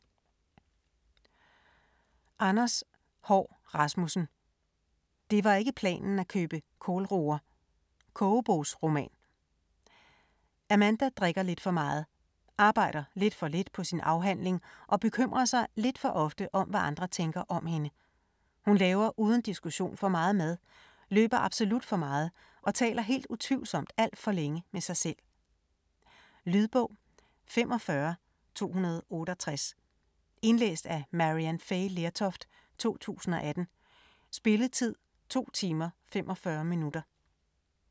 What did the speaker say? Haahr Rasmussen, Anders: Det var ikke planen at købe kålroer: kogebogsroman Amanda drikker lidt for meget, arbejder lidt for lidt på sin afhandling og bekymrer sig lidt for ofte om hvad andre tænker om hende. Hun laver uden diskussion for meget mad, løber absolut for meget og taler helt utvivlsomt alt for længe med sig selv. Lydbog 45268 Indlæst af Maryann Fay Lertoft, 2018. Spilletid: 2 timer, 45 minutter.